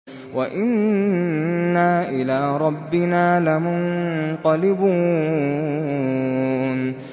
وَإِنَّا إِلَىٰ رَبِّنَا لَمُنقَلِبُونَ